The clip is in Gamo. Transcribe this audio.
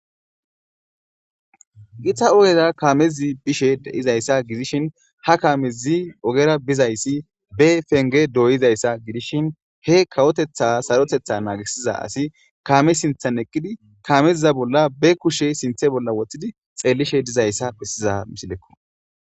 githa ogeza kaamezi bishe de7izayssa gidishin ha kaamezi ogera bizayssi be penge doyizayssa gidishin he kawotetha sarotetha naagisiza asi kaame sinthan eqqidi kaameziza bolla be kushe sinthe bolla woththidi xeellishe dizayssa bessiza misilekko